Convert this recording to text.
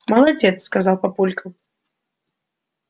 молодец сказал папулька